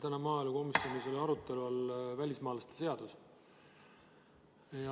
Täna oli maaelukomisjonis arutelu all välismaalaste seadus.